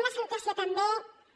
una salutació també